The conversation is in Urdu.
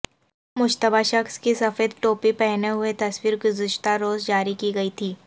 مشتبہ شخص کی سفید ٹوپی پہنے ہوئے تصویر گزشتہ روز جاری کی گئی تھی